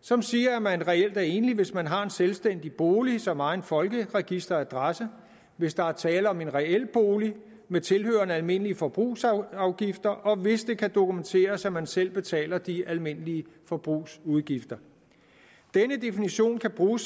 som siger at man reelt er enlig hvis man har en selvstændig bolig som egen folkeregisteradresse hvis der er tale om en reel bolig med tilhørende almindelige forbrugsudgifter og hvis det kan dokumenteres at man selv betaler de almindelige forbrugsudgifter denne definition kan bruges